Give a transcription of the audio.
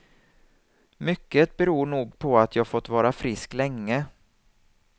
Mycket beror nog på att jag fått vara frisk länge.